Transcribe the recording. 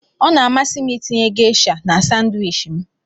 Ọ na-amasị m itinye Gesha na Sanwichi m.